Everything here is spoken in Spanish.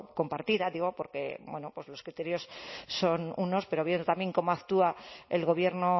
compartida digo porque bueno pues los criterios son unos pero viendo también cómo actúa el gobierno